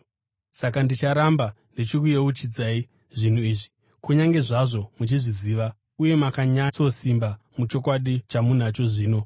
Saka ndicharamba ndichikuyeuchidzai zvinhu izvi, kunyange zvazvo muchizviziva uye makanyatsosimba muchokwadi chamunacho zvino.